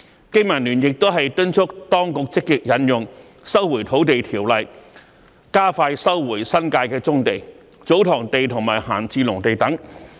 經民聯亦敦促當局積極引用《收回土地條例》，加快收回新界的棕地、祖堂地及閒置農地等。